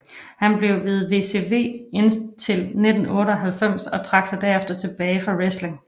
Han blev ved WCW indtil 1998 og trak sig derefter tilbage fra wrestling